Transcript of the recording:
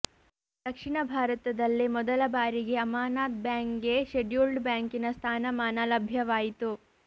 ದಕ್ಷಿಣ ಭಾರತದಲ್ಲೆ ಮೊದಲ ಬಾರಿಗೆ ಅಮಾನತ್ ಬ್ಯಾಂಕ್ಗೆ ಶೆಡ್ಯೂಲ್ಡ್ ಬ್ಯಾಂಕಿನ ಸ್ಥಾನಮಾನ ಲಭ್ಯವಾಯಿತು